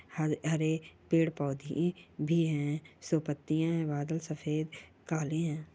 ह हरे पेड़ - पौधे भी है सौ पत्तियां है बादल सफेद काले हैं।